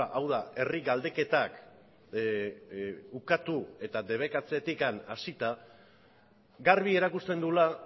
hau da herri galdeketak ukatu eta debekatzetik hasita garbi erakusten duela